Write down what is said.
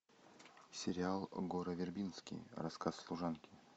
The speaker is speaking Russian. сериал гора вербински рассказ служанки